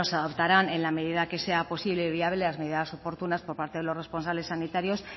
adoptarán en la medida que sea posible y viable las medidas oportunas por parte de los responsables sanitarios